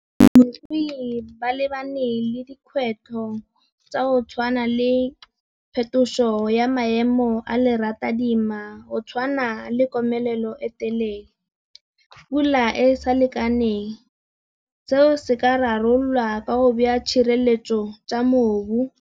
Balemirui ba lebane le dikgwetlho tsa go tshwana le phetoso ya maemo a le ratadima go tshwana le komelelo e telele. Pula e sa lekaneng, seo se ka rarololwa ka go beya tshireletso tsa mobu.